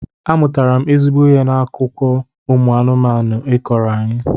Amụtara m ezigbo ihe n'akụkọ ụmụ anụmanụ ị kọọrọ anyị